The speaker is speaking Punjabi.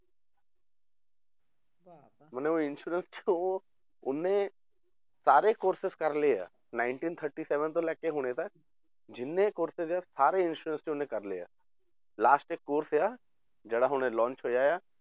ਮਨੇ ਉਹ insurance 'ਚ ਉਹ ਉਹਨੇ ਸਾਰੇ courses ਕਰ ਲਏ ਆ ninety thirty seven ਤੋਂ ਲੈ ਕੇ ਹੁਣੇ ਤੱਕ ਜਿੰਨੇ courses ਆ insurance 'ਚ ਉਹਨੇ ਕਰ ਲਏ ਆ last ਇੱਕ course ਆ ਜਿਹੜਾ ਹੁਣੇ launch ਹੋਇਆ ਆ